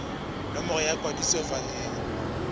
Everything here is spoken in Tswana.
nomoro ya kwadiso fa e